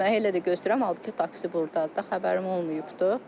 Mənə elə də göstərirlər, halbuki taksi burdadır da, xəbərim olmayıbdır.